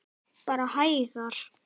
Bara hægar.